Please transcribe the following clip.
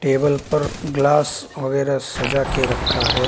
Table पर glass वगैरह सजा के रखा है।